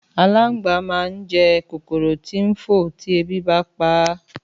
Àlàngbá mà n je kòkòrò tí ń fò ti ebí bá ń paá